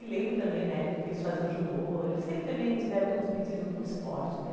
E lembro também, na época que eles faziam judô, eles sempre também tiveram muito metido com o esporte, né?